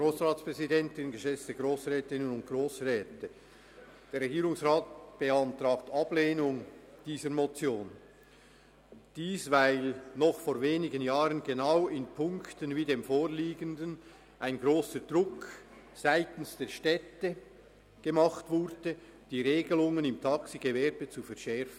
Der Regierungsrat beantragt Ablehnung dieser Motion, weil noch vor wenigen Jahren genau in Punkten wie dem vorliegenden ein grosser Druck seitens der Städte ausgeübt wurde, die Regelungen im Taxigewerbe zu verschärfen.